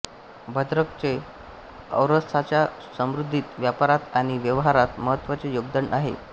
भद्रकचे ओरिसाच्या समृद्धीत व्यापारात आणि व्यवहारात महत्त्वाचे योगदान आहे